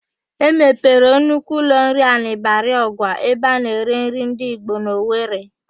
E mepere nnukwu ụlọnri a na-Ịbarịọgwa ebe a na-ere nri ndị ịgbo n'Owere.